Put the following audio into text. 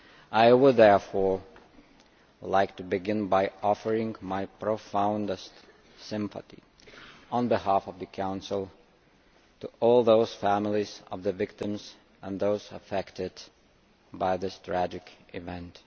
I would therefore like to begin by offering my deepest sympathy, on behalf of the Council, to all the families of the victims and those affected by this tragic event.